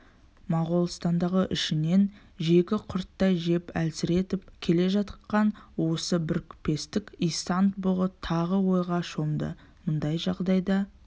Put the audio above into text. моғолстанды ішінен жегі құрттай жеп әлсіретіп келе жатқан осы бірікпестік исан-бұғы тағы ойға шомды мұндай жағдайда